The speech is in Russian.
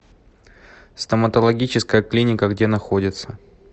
стоматологическая клиника где находится